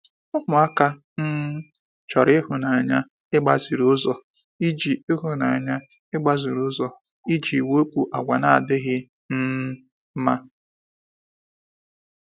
Ụmụaka um chọrọ ịhụnanya mgbaziriụzọ iji ịhụnanya mgbaziriụzọ iji wepụ àgwà na-adịghị um mma.